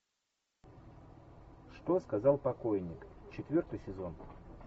что сказал покойник четвертый сезон